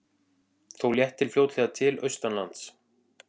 Þó léttir fljótlega til austanlands